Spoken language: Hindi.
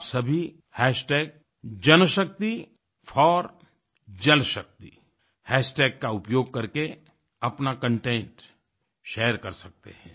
आप सभी JanShakti4JalShaktiहैशटैग का उपयोग करके अपना कंटेंट शेयर कर सकते हैं